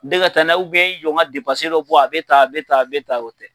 i jɔ n ka dɔ bɔ a bɛ tan a bɛ tan bɛ tan o tɛ.